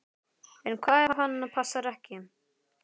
En hvað ef hann passar ekki?